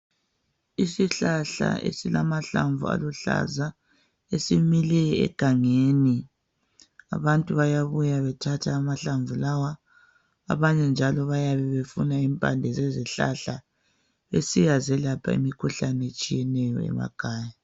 Isihlahla esilamahlamvu aluhlaza esimile egangeni abantu bayabuya bethathe amahlamvu lawa abanye njalo bayabe befuna impande zezihlahla besiya zelapha imikhuhlane emakhaya